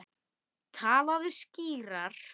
Talaðu skýrar.